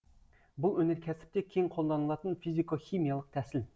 бұл өнеркәсіпте кең қолданылатын физико химиялық тәсіл